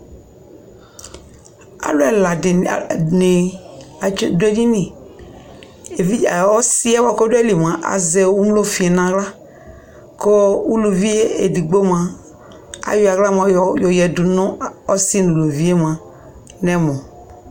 alʋ ɛla dini adʋ ɛdini ɔsii bʋakʋ ɔdʋ aliɛ mʋa azɛ ʋmlɔ ƒi nʋ ala kʋ ʋlʋviɛ ɛdigbɔ mʋa ayɔ ala yɔ yɛdʋ nʋ ɔsiiɛ nʋ ʋlʋviɛ nɛ ɛmɔ